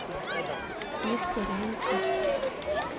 дехтяренко